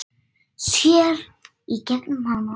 Sér í gegnum hana.